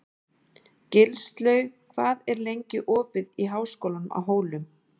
Gilslaug, hvað er lengi opið í Háskólanum á Hólum?